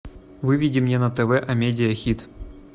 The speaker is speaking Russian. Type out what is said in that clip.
выведи мне на тв амедиа хит